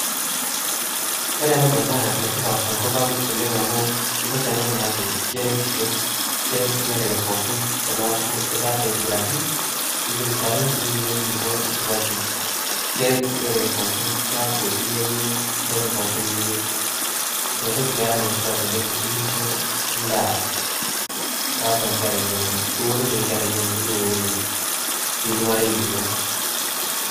kore anaa bai naa netip tonkopang amuu ntokii anaa naaku keretishoo keret lorere pookin tanaaku itaasa aitibirakii nipik nkaree nipik ninyee nkulipoo supatii keret lorere pookin keakuu inyayie ntokii pookin niyeu inia tokii peera netipat oleng ikinshoo ndaa taatua nkera inonoo iwororie nkera inono niwororie sii lmarei linoo.